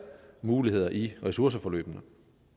muligheder i ressourceforløbene